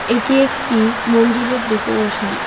এটি একটি মন্দিরের ডেকোরেশন ।